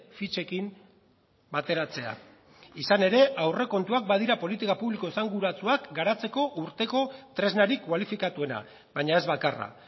fitxekin bateratzea izan ere aurrekontuak badira politika publiko esanguratsuak garatzeko urteko tresnarik kualifikatuena baina ez bakarra